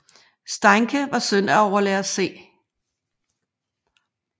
Steincke var søn af overlærer C